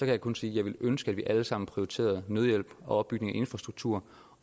jeg kun sige at jeg ville ønske at vi alle sammen prioriterede nødhjælp og opbygning af infrastruktur